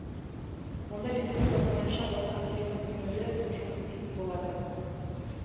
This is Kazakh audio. онда республика бойынша ортақ телефон нөмірі жұмыс істейтін болады